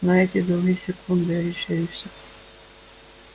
но эти доли секунды решили все